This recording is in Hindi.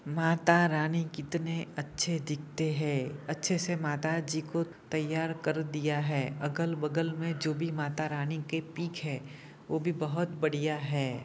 माता रानी कितने अच्छे दीखते है अच्छे से माता जी को तैयार कर दिया है अगल बगल में जो भी माता रानी के पिक है वो भी बहुत बढ़िया है।